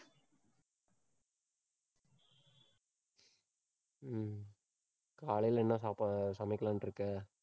காலையில என்ன சாப்பா~ சமைக்கலான்ட்டு இருக்கே?